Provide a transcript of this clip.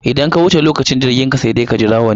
Idan ka wuce lokacin jirginka sai dai ka jira wani.